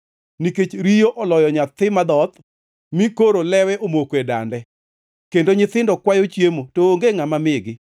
Nikech riyo oloyo nyathi madhoth mi koro lewe omoko e dande; kendo nyithindo kwayo chiemo, to onge ngʼama migi.